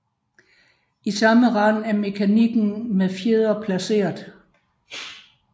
I samme rand er mekanikken med fjedre placeret